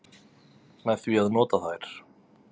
Með því að nota þær.